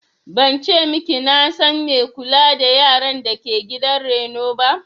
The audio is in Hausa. Ban ce maki na san mai kula da yaran dake gidan reno ba